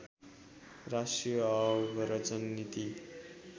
राष्ट्रिय आव्रजन नीति